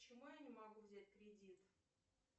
почему я не могу взять кредит